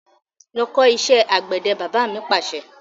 Lọ kọ́ ìṣẹ́ àgbẹ̀dẹ! Bàbá mi Pàṣẹ.